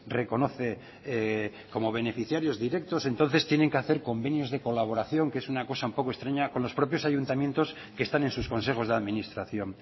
reconoce como beneficiarios directos entonces tienen que hacer convenios de colaboración que es una cosa un poco extraña con los propios ayuntamientos que están en sus consejos de administración